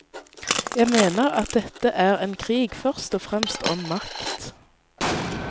Jeg mener at dette er en krig først og fremst om makt.